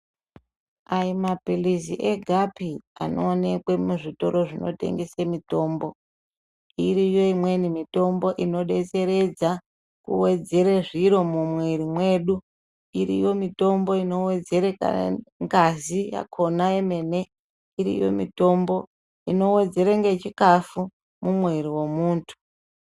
Ayimapilizi egapi anoonekwa kuzvitoro zvinotengese mitombo iriyo imweni mitombo inodetseredza kuwedzere zviro mumwiri mwedu. Iriyo mitombo inowedzere ngazi yona yemene. Iriyo mitombo inowedzere ngechikafu mumwiri mwemuntu